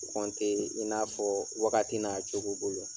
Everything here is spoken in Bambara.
i n'a fɔ wagati n'a cogo bolo.